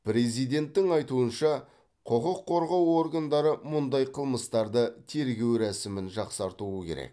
президенттің айтуынша құқық қорғау органдары мұндай қылмыстарды тергеу рәсімін жақсартуы керек